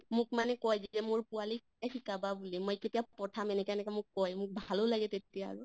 মোক মানে কয় যেতিয়া মোৰ পোৱালী শিকিবা বুলি মই কেতিয়া পঠাইম এনেকা এনেকা মোক কয়, মোক ভালো লাগে তেতিয়া আৰু